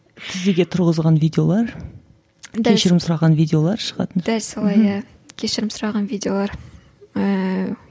тізеге тұрғызылған видеолар кешірім сұраған видеолар шығатын дәл солай иә кешірім сұраған видеолар ііі